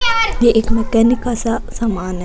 ये एक मैकेनिक का सा सामान है।